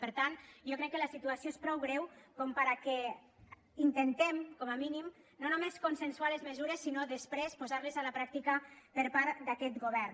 per tant jo crec que la situació és prou greu perquè intentem com a mínim no només consensuar les mesures sinó després posar les a la pràctica per part d’aquest govern